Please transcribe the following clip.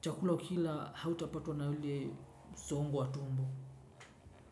chakula ukila hautapatwa na ule songo wa tumbo.